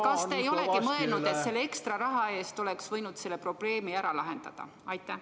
Kas te ei ole mõelnud, et lisaraha eest oleks võinud selle probleemi ära lahendada?